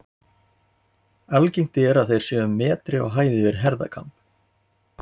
Algengt er að þeir séu um metri á hæð yfir herðakamb.